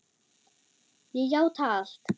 Ég játa allt